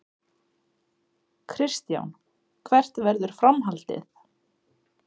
Kristján: Hvert verður framhaldið?